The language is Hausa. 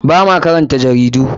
Ba ma karanta jaridu.